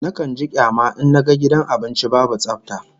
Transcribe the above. Nakan ji kyama in naga gidan abinci babu tsafta